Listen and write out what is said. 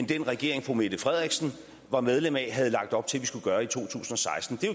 den regering fru mette frederiksen var medlem af havde lagt op til at vi skulle gøre i to tusind og seksten det er